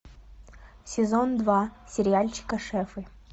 сезон два сериальчика шефы